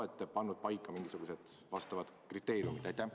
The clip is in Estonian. Kas te olete pannud paika mingisugused kriteeriumid?